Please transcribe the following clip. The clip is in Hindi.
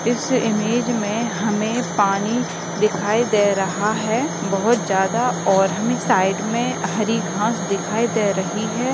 इस इमेज मे हमे पानी दिखाई दे रहा है बहुत ज्यादा और हमे साइड मे हरी घास दिखाई दे रही है।